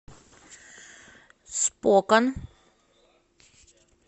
спокан